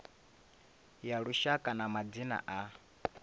ya lushaka ya madzina a